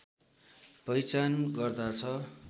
पहिचान गर्दछ